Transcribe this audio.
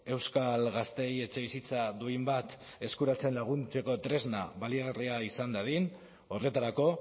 euskal gazteei etxebizitza duin bat eskuratzen laguntzeko tresna baliagarria izan dadin horretarako